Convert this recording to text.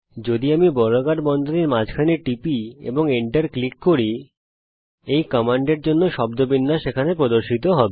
যদি আমি বর্গাকার বন্ধনীর মাঝখানে টিপি এবং enter ক্লিক করি এই কমান্ডের জন্য শব্দবিন্যাস এখানে প্রদর্শিত হবে